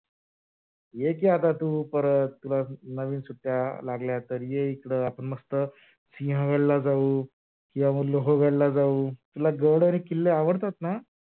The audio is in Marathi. ये की, आता तू परत तुला नवीन सुट्ट्या लागल्या तर ये इकड आपण मस्त सिहागड ला जाऊ, किंवा म लोहगड ला जाऊ तुला गड आणि किल्ले आवडतात ना?